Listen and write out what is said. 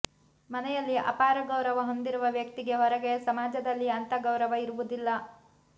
ಮನೆಯಲ್ಲಿ ಅಪಾರ ಗೌರವ ಹೊಂದಿರುವ ವ್ಯಕ್ತಿಗೆ ಹೊರಗೆ ಸಮಾಜದಲ್ಲಿ ಅಂಥ ಗೌರವ ಇರುವುದಿಲ್ಲ